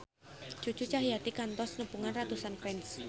Cucu Cahyati kantos nepungan ratusan fans